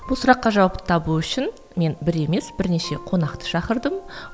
бұл сұраққа жауапты табу үшін мен бір емес бірнеше қонақты шақырдым